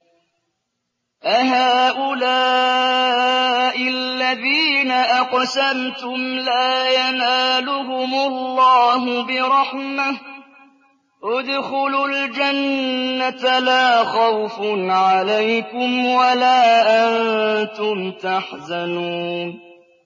أَهَٰؤُلَاءِ الَّذِينَ أَقْسَمْتُمْ لَا يَنَالُهُمُ اللَّهُ بِرَحْمَةٍ ۚ ادْخُلُوا الْجَنَّةَ لَا خَوْفٌ عَلَيْكُمْ وَلَا أَنتُمْ تَحْزَنُونَ